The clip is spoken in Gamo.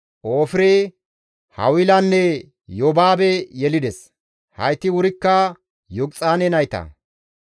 Ofire, Hawilanne Yobaabe yelides; hayti wurikka Yoqixaane nayta.